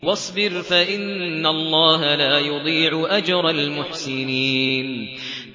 وَاصْبِرْ فَإِنَّ اللَّهَ لَا يُضِيعُ أَجْرَ الْمُحْسِنِينَ